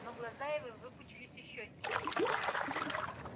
но глаза его выпучились ещё сильнее